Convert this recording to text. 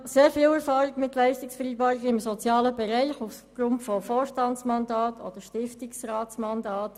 Ich habe aufgrund von Vorstands- oder Stiftungsratsmandaten sehr viel Erfahrung mit Leistungsvereinbarungen im sozialen Bereich.